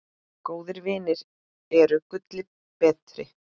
Góðir vinir eru gulli betri.